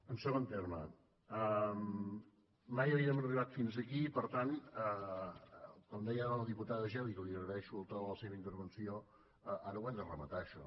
en segon terme mai havíem arribat fins aquí i per tant com deia ara la diputada geli que li agraeixo el to de la seva intervenció ara ho hem de rematar això